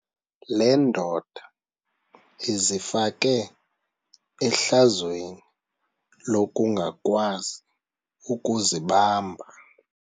Le ndoda izifake ehlazweni lokungakwazi ukuzibamba.